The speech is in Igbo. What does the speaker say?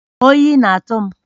Oyi na-atụ m